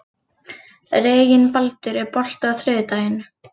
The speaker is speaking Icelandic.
Reginbaldur, er bolti á þriðjudaginn?